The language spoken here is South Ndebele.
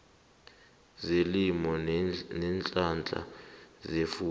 zelimo neenhlahla zefuyo